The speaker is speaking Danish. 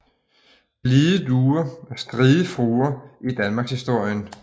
Blide duer og stride fruer i danmarkshistorien